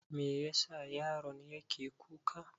Me yasa yaron yake kuka?